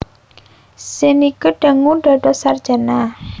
Zernike dangu dados sarjana